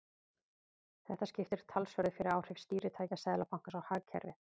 Þetta skiptir talsverðu fyrir áhrif stýritækja Seðlabankans á hagkerfið.